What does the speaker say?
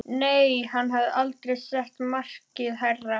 Nei, hann hafði aldrei sett markið hærra.